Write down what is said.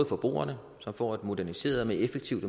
forbrugerne som får et moderniseret og mere effektivt